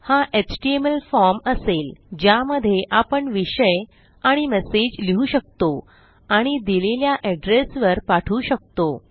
हा HTML form असेल ज्यामधे आपण विषय आणि मेसेज लिहू शकतो आणि दिलेल्या एड्रेस वर पाठवू शकतो